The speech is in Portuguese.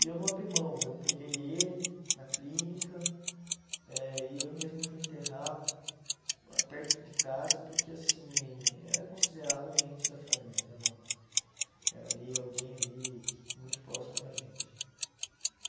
E eu não abri mão, eu peguei ele na clínica eh e eu mesmo fui enterrar perto de casa, porque assim, era considerado um ente da família né uma, era ali alguém ali muito próximo da gente.